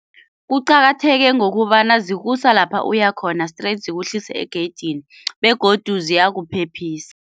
Kuqakatheke ngokobana zikusa lapha uyakhona straight zikuhlisa egeyidini begodu ziyakuphephisa.